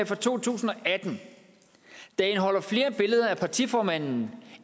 for to tusind og atten der indeholder flere billeder af partiformanden